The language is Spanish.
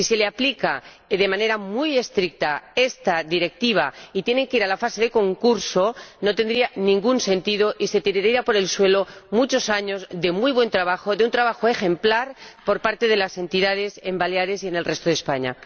Aplicarles de manera muy estricta esta Directiva y que tengan que ir a la fase de concurso no tendría ningún sentido, y se echarían por tierra muchos años de muy buen trabajo, de un trabajo ejemplar por parte de las entidades en Baleares y en el resto de España.